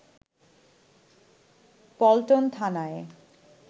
পল্টন থানায়